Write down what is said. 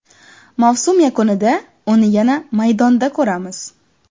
Mavsum yakunida uni yana maydonda ko‘ramiz.